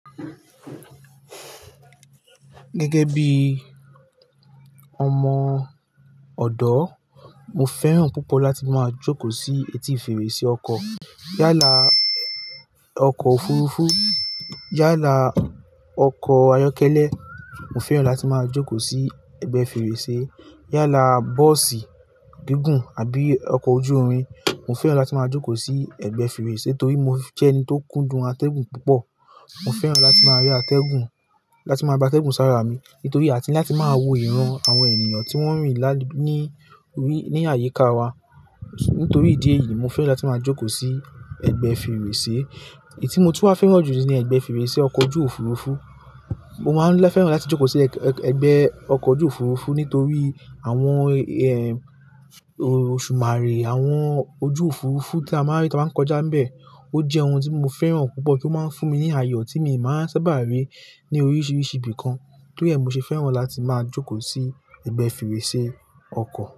Gẹ́gẹ́ bí ọmọ ọ̀dọ́, mo fẹ́ràn púpọ̀ láti máa jókòó sí etí fèrèsé ọkọ̀. Yálà ọkọ̀ òfurufú, yálà ọkọ̀ ayọ́kẹ́lẹ́, mo fẹ́ràn láti máa jókòó sí ẹ̀gbẹ́ fèrèsé. Yálà bọ́ọ̀sì gígùn àbí ọkọ̀ ojú irin, mo fẹ́ràn láti máa jókòó sí ẹ̀gbẹ́ fèrèsé torí mo jẹ́ ẹni tó kúndùn atẹ́gùn púpọ̀. Mo fẹ́ràn láti máa rí atẹ́gùn, láti máa ba atẹ́gùn sára mi nítorí a ti ń láti máa wo ìran àwọn ènìyàn tí wọ́n ń rìn ní, ní àyíká wa. Nítorí ìdí èyí mo fẹ́ràn láti máa jókòó sí ẹ̀gbẹ́ fèrèsé. Èyí tí mo tú á fẹ́ràn jùlọ ni ẹ̀gbẹ́ fèrèsé ọkọ̀ ojú òfurufú. Mo máa ń fẹ́ràn láti jókòó sí ẹgbẹ́ ọkọ̀ ojú òfurufú nítorí àwọn, ẹ́, òṣùmàrè àwọn ojú òfurufú tí a máa ń rí tí wọ́n bá ń kọjá ń bẹ. Ó jẹ́ ohun tí mo fẹ́ràn púpọ̀ tí ó máa ń fún mi ní àyọ̀ tí mi o máa ń sábà rí ní oríṣiríṣi ibìkan. Torí ẹ mo ṣe fẹ́ràn láti máa jókòó sí ẹ̀gbẹ́ fèrèsé ọkọ̀